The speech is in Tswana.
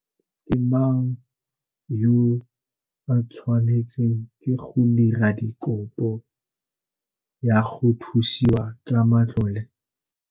Ke mang yo a tshwanetsweng ke go dira kopo ya go thusiwa ka matlole?